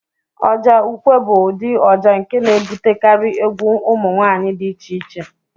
Ọjà ukwe bụ ụdị ọjà nke na-ebutekarị egwu ụmụ nwaanyị dị iche-iche.